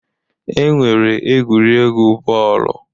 E nwere egwuregwu bọọlụ.